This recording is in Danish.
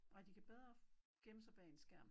Nej de kan bedre gemme sig bag en skærm